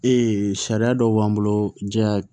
Ee sariya dɔw b'an bolo diya